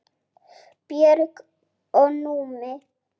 Björg og Númi.